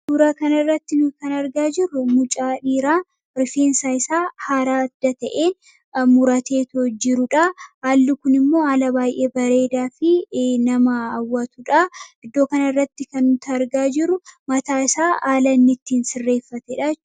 Suuraa kana irratti kan argaa jirru, mucaa dhiiraa rifeensa isaa haala adda ta'een kan muratee jirudha. Haalli Kun immoo haala baayyee bareeda fi nama hawwatudha. Iddoo Kana irratti kan nuti argaa jirru, mataa isaa haala inni ittiin sirreeffatedha jechuudha.